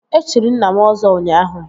E chiri nna m Ọzọ ụnyaahụ